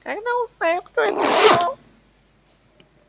когда узнаю кто это сделал